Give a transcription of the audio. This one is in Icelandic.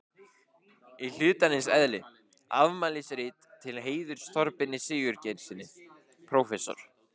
Í hlutarins eðli: Afmælisrit til heiðurs Þorbirni Sigurgeirssyni prófessor.